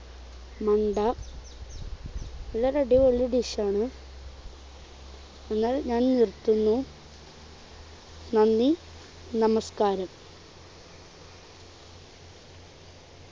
മണ്ട നല്ലൊരു അടിപൊളി dish ആണ് എന്നാൽ ഞാൻ നിർത്തുന്നു . നന്ദി നമസ്കാരം